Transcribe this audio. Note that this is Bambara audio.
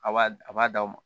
A b'a a b'a d'aw ma